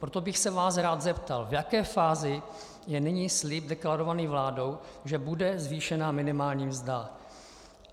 Proto bych se vás rád zeptal, v jaké fázi je nyní slib deklarovaný vládou, že bude zvýšena minimální mzda.